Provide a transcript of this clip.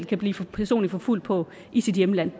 kan blive personligt forfulgt på i sit hjemland